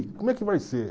Como é que vai ser?